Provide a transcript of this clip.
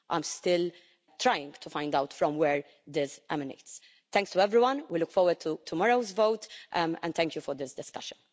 I'm still trying to find out where this emanates from. Thanks to everyone. We look forward to tomorrow's vote and thank you for this discussion.